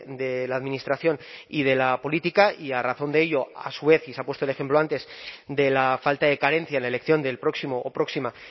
de la administración y de la política y a razón de ello a su vez y se ha puesto el ejemplo antes de la falta de carencia en elección del próximo o próxima